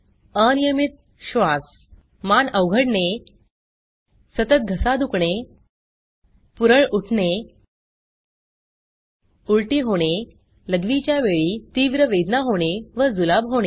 अनियमित श्वास मान अवघडणे सतत घसा दुखणे पुरळ उठणे उलटी होणे लघवीच्या वेळी तीव्र वेदना होणे व जुलाब होणे